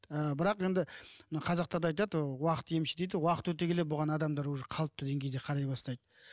ыыы бірақ енді мына қазақтарда да айтады уақыт емші дейді уақыт өте келе бұған адамдар уже қалып деңгейде қарай бастайды